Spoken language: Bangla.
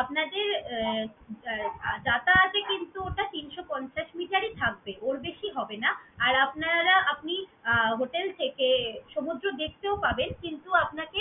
আপনাদের এর আহ যাতায়াতে কিন্তু ওটা তিনশ পঞ্চাশ meter ই থাকবে, ওর বেশি হবে না। আর আপনারা আপনি আহ hotel থেকে সমুদ্র দেখতেও পাবেন কিন্তু আপনাকে